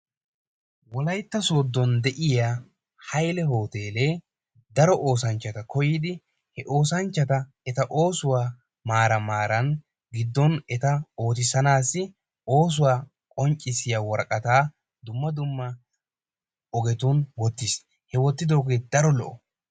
Wolaitta sodon de'iyaa hayle hoteelee daro oosanchchata koyidi he oosanchchatta eta oosuwaa maaran maaran giddon eta ootisanaassi oosuwa qonccissiyaa woraqattaa dumma dumma ogetun wotiis he wottidoogee daro lo'o.